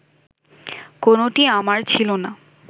কোনোটিই আমার ছিল না